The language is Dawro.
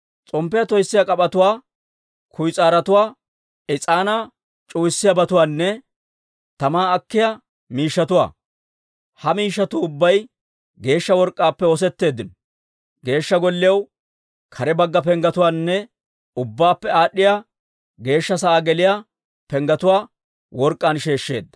S'omppiyaa toyssiyaa k'ap'etuwaa, kuyis'aarotuwaa, is'aanaa c'uwayiyaabatuwaanne tamaa akkiyaa miishshatuwaa. Ha miishshatuu ubbay geeshsha work'k'aappe oosetteeddino. Geeshsha Golliyaw kare bagga penggetuwaanne Ubbaappe Aad'd'iyaa Geeshsha sa'aa geliyaa penggetuwaa work'k'aan sheeshsheedda.